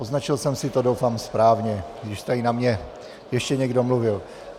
Označil jsem si to, doufám, správně, když tady na mě ještě někdo mluvil.